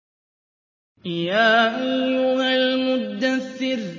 يَا أَيُّهَا الْمُدَّثِّرُ